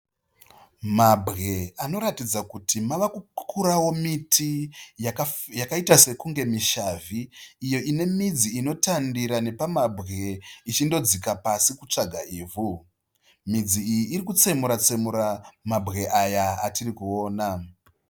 Mabwe anoratidza kuti mava kukukurawo miti yakaita sekunge mishavhi iyo ine midzi inotandira nepamambwe ichindodzika pasi kutsvaga ivhu. Midzi iyi iri kutsemura tsemura mambwe aya atiri kuwona.